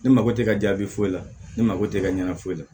Ne mako tɛ ka jaabi foyi la ne mako tɛ ka ɲana foyi la